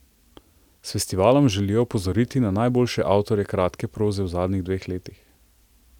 S festivalom želijo opozoriti na najboljše avtorje kratke proze v zadnjih dveh letih.